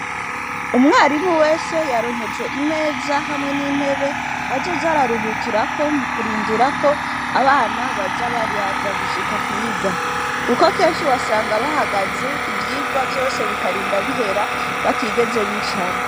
Umwarimu wese yaronkejwe imeza hamwe n'intebe azoza araruhukirako mu kurindirako abana baza baraza gushika kwiga. Kuko kenshi wasanga bahagaze ivyirwa vyose bikarinda bihera batigeze bicara.